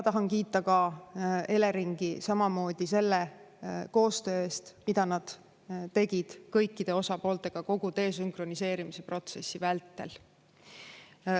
Tahan kiita ka Eleringi samamoodi selle koostöö eest, mida nad tegid kõikide osapooltega kogu desünkroniseerimise protsessi vältel.